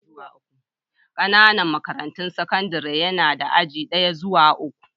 Ƙananan makarantun sakandare na da aji daya zuwa uku.